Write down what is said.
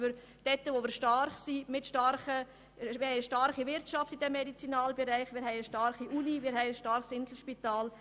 Wir haben im Medizinalbereich eine starke Wirtschaft, eine starke Uni und ein starkes Inselspital.